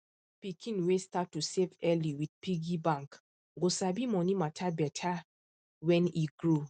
pikin wey start to save early with piggy bank go sabi money matter better when e grow